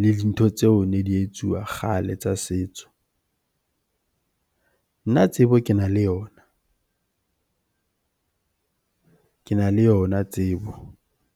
le dintho tseo ne di etsuwa kgale tsa setso. Nna tsebo kena le yona, kena le yona tsebo